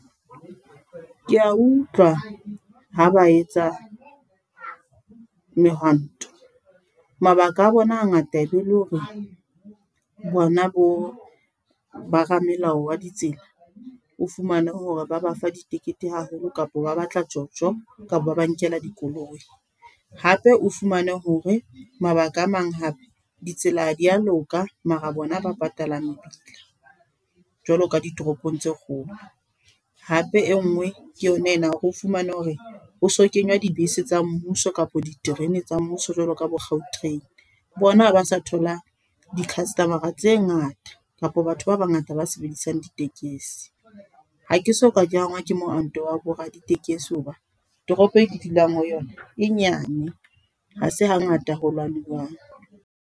Ke a utlwa, ha ba etsa, mehwanto. Mabaka a bona ha ngata e be le hore, bona bo baramelao wa ditsela. O fumane hore ba ba fa di-ticket haholo kapa ba batla di tjotjo, kapa ba ba nkela dikoloi. Hape o fumane hore mabaka a mang hape, di tsela ha di a loka, mara bona ba patalang mebila. Jwalo ka ditoropong tse kgolo. Hape e nngwe ke yona ena, o fumane hore ho so kenywa dibese tsa mmuso kapa diterene tsa mmuso, jwaloka bo Gautrain. Bona ha ba sa thola di-customer-a tse ngata. Kapa batho ba bangata ba sebedisang ditekesi. Hake soka ke angwa ke homanto wa bo raditekesi hoba toropo e dulang ho yona. E nyane, ha se ha ngata ho lwanuwang.